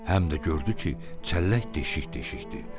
Həm də gördü ki, çəllək deşik-deşikdir.